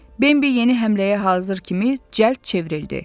Bambi yeni həmləyə hazır kimi cəld çevrildi.